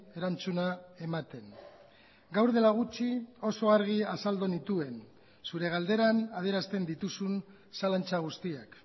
erantzuna ematen gaur dela gutxi oso argi azaldu nituen zure galderan adierazten dituzun zalantza guztiak